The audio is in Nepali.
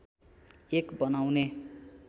एक बनाउने